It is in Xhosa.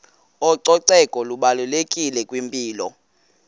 ucoceko lubalulekile kwimpilo